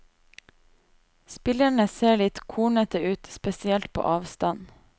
Spillerne ser litt kornete ut, spesielt på avstand.